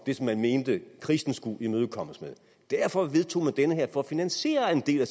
det som man mente krisen skulle imødekommes med derfor vedtog man den her for at finansiere en del af